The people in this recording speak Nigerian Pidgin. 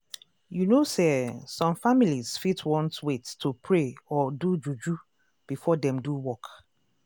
you know say eeh some families fit want wait to pray or do juju before dem do work.